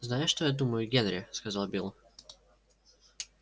знаешь что я думаю генри сказал билл